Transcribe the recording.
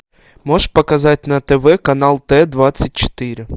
можешь показать на тв канал т двадцать четыре